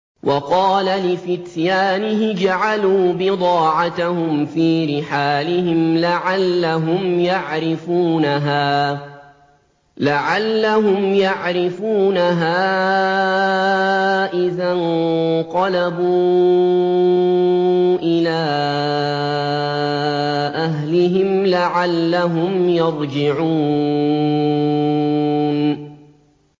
وَقَالَ لِفِتْيَانِهِ اجْعَلُوا بِضَاعَتَهُمْ فِي رِحَالِهِمْ لَعَلَّهُمْ يَعْرِفُونَهَا إِذَا انقَلَبُوا إِلَىٰ أَهْلِهِمْ لَعَلَّهُمْ يَرْجِعُونَ